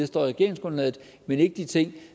står i regeringsgrundlaget men ikke de ting